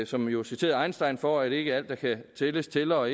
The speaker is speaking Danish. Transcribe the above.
som jo citerede einstein for at sige at ikke alt der kan tælles tæller og